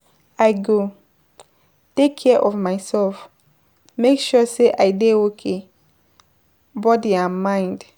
I go take care of myself, make sure say I dey okay, body and mind.